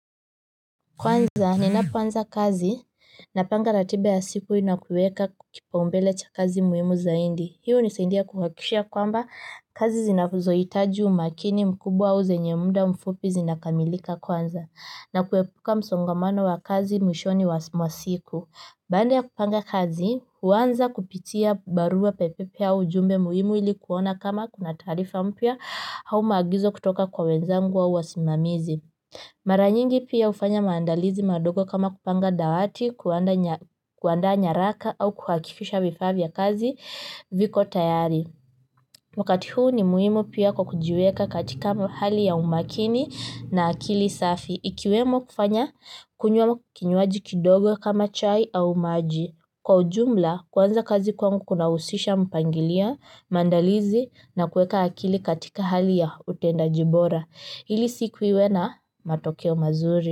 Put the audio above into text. Kwanza, ninapoanza kazi, napanga ratiba ya siku na kuweka kipaumbele cha kazi muhimu zaidi, hiyo nisaidia kuhakikisha kwamba kazi zinazo hitaji umakini mkubwa au zenye muda mfupi zina kamilika kwanza, na kuepuka msongamano wa kazi mwishoni wa siku. Baada ya kupanga kazi, huanza kupitia barua pepe au ujumbe muhimu ili kuona kama kuna taarifa mpya au maagizo kutoka kwa wenzangu au wasimamizi. Mara nyingi pia hufanya maandalizi madogo kama kupanga dawati, kuandaa nyaraka au kuhakikisha vifaa vya kazi viko tayari. Wakati huu ni muhimu pia kwa kujiweka katika hali ya umakini na akili safi. Ikiwemo kufanya kunywa kinywaji kidogo kama chai au maji. Kwa ujumla, kuanza kazi kwangu kunahusisha mpangilio, maandalizi na kuweka akili katika hali ya utendaji bora. Ili siku iwe na matokeo mazuri.